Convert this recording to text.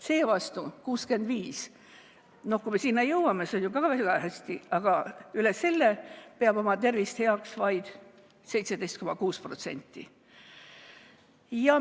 Seevastu üle 65‑aastastest peab oma tervist heaks vaid 17,6%.